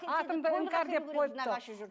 атымды іңкәр деп қойыпты